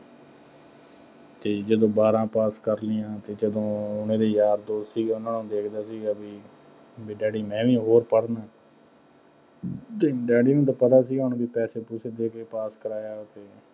ਅਤੇ ਜਦੋਂ ਬਾਰਾਂ pass ਕਰ ਲਈਆਂ ਅਤੇ ਜਦੋਂ ਮੇਰਾ ਯਾਰ ਦੋਸਤ ਸੀਗਾ, ਉਹਨਾ ਨਾਲ ਦੇਖਦਾ ਹੁੰਦਾ ਸੀ ਬਈ ਡੈਡੀ ਮੈਂ ਵੀ ਹੋਰ ਪੜ੍ਹਨਾ ਅਤੇ ਡੈਡੀ ਨੂੰ ਤਾਂ ਪਤਾ ਸੀਗਾ ਹੁਣ ਬਈ ਪੈਸੇ-ਪੂਸੇ ਦੇ ਕੇ pass ਕਰਾਇਆ।